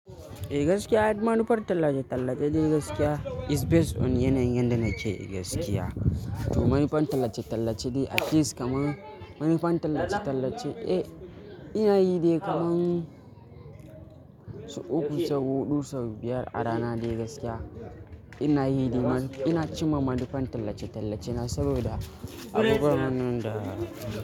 Eh gaskiya, manufar tallace-tallace dai gaskiya is based on yanayin yanda nake gaskiya. To manufar tallace-tallace ce at least kaman manufar tallace-tallace, eh ina yi dai kaman sau uku, sau huɗu, sau biyar a rana dai gaskiya ina yi dai ma -ina cimma manufar tallace-tallace na saboda abubuwan nan da.